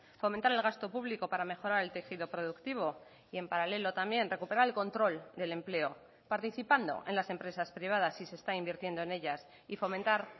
fomentar el gasto público para mejorar el tejido productivo y en paralelo también recuperar el control del empleo participando en las empresas privadas si se está invirtiendo en ellas y fomentar